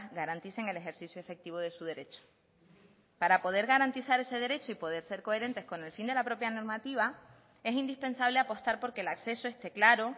garanticen el ejercicio efectivo de su derecho para poder garantizar ese derecho y poder ser coherentes con el fin de la propia normativa es indispensable apostar por que el acceso esté claro